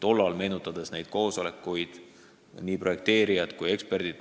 Ma meenutan praegu neid koosolekuid, kus osalesid nii eksperdid kui ka projekteerijad.